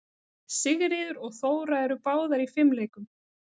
Sigríður og Þóra eru báðar í fimleikum.